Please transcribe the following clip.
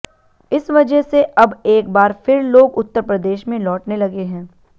इस वजह से अब एक बार फिर लोग उत्तरप्रदेश में लौटने लगे हैं